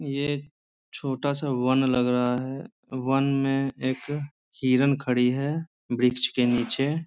ये छोटा-सा वन लग रहा है वन में एक हिरन खड़ी है वृक्ष के नीचे।